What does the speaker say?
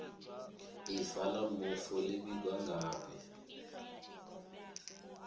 ifa la mufu li vhigwa ngafhi